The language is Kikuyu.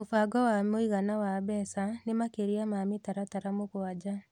Mũbango wa mũigana wa mbeca nĩ makĩria ma mĩtaratara mũgwanja